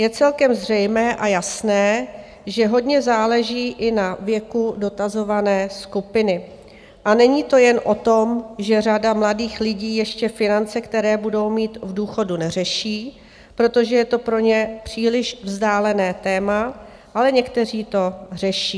Je celkem zřejmé a jasné, že hodně záleží i na věku dotazované skupiny, a není to jen o tom, že řada mladých lidí ještě finance, které budou mít v důchodu, neřeší, protože je to pro ně příliš vzdálené téma, ale někteří to řeší.